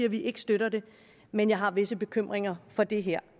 at vi ikke støtter det men jeg har visse bekymringer for det her